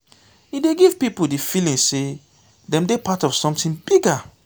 e dey give pipo di feeling sey dem dey part of something bigger